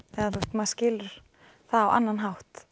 maður skilur það á annan hátt